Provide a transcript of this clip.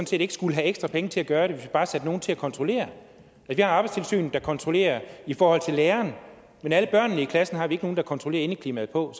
set ikke skulle have ekstra penge til at gøre det hvis vi bare satte nogen til at kontrollere vi har arbejdstilsynet der kontrollerer læreren men alle børnene i klassen har vi ikke nogen der kontrollerer indeklimaet på